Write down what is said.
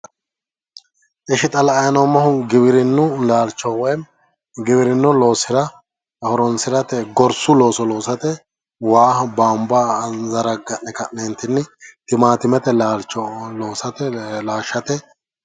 Ishi xa la'anni noommohu giwirinnu laalcho woyim giwirinnu loosira horonsi'rate gorsu looso loosate waaho bama zarga'ne ka'neeti timaatimete laalcho loosate laashshate